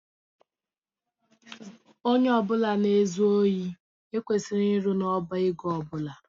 Ónyé ọbula na ezu ohi ekwesịghị ịrụ n' ọbá égo ọbula.